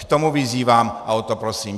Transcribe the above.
K tomu vyzývám a o to prosím.